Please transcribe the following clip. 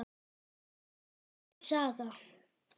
Allt er saga.